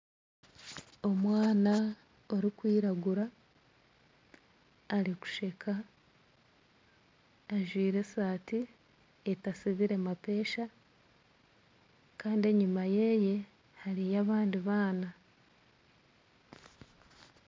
Omwana orikwiragura arikusheka ajwire esaati etasibire mapesha kandi enyima ye hariyo abandi baana